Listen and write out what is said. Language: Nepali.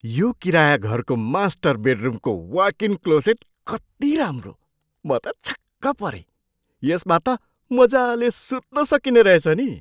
यो किराया घरको मास्टर बेडरुमको वकइन क्लोसेट कति राम्रो! म त छक्क परेँ। यसमा त मजाले सुत्न सकिने रहेछ नि।